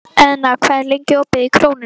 Eðna, hvað er lengi opið í Krónunni?